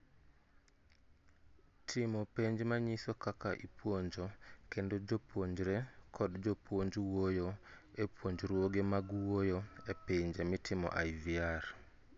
Timo penj manyiso kaka ipuonjo kendo jopuonre kod jopuonj wuoyo e puonjruoge mag wuoyo e pinje mitime IVR